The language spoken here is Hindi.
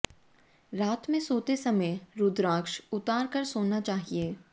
रात में सोते समय रुद्राक्ष उतार कर सोना चाहिए